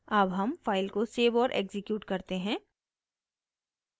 अब हम फाइल को सेव और एक्सिक्यूट करते हैं